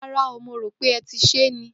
Ràrá o, mó ròpẹ́, ẹti se ni.